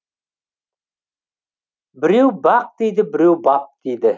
біреу бақ дейді біреу бап дейді